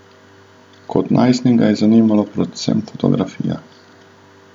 Kot najstnika ga je zanimala predvsem fotografija.